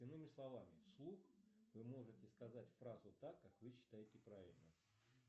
иными словами в слух вы можете сказать фразу так как вы считаете правильно